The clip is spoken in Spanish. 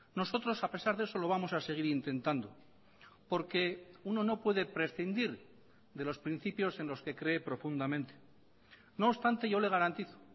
nosotros a pesar de eso lo vamos a seguir intentando porque uno no puede prescindir de los principios en los que cree profundamente no obstante yo le garantizo